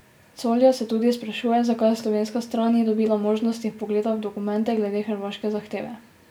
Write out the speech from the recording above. Colja se tudi sprašuje, zakaj slovenska stran ni dobila možnosti vpogleda v dokumente glede hrvaške zahteve.